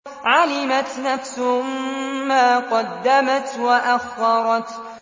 عَلِمَتْ نَفْسٌ مَّا قَدَّمَتْ وَأَخَّرَتْ